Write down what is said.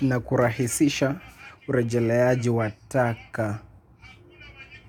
na kurahisisha urejeleaji wa taka.